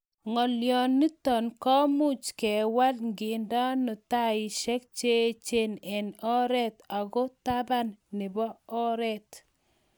ngolyonito komuch kewal ngendeno taishek cheechen eng oret ago taban nebo oret